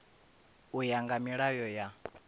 u ya nga milayo ya